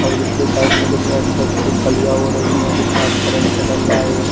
और इसके साइड में कितने अच्छी-अच्छी कलियां हो रही है कितना अच्छा लेंट डल रहा है।